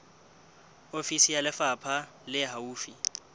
ofisi ya lefapha le haufi